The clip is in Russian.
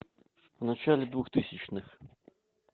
в начале двухтысячных